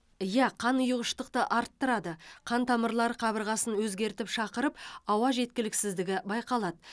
иә қан ұйығыштықты арттырады қан тамырлар қабырғасын өзгертіп шақырып ауа жеткіліксіздігі байқалады